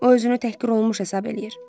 O özünü təhqir olunmuş hesab eləyir.